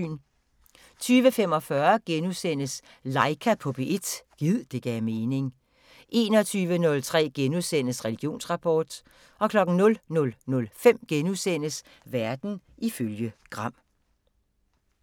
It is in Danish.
20:45: Laika på P1 – gid det gav mening * 21:03: Religionsrapport * 00:05: Verden ifølge Gram *